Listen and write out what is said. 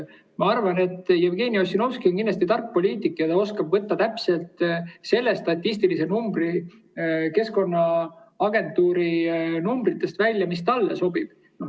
Ma arvan, et Jevgeni Ossinovski on kindlasti tark poliitik ja ta oskab võtta Keskkonnaagentuuri numbritest välja täpselt selle statistilise numbri, mis talle sobib.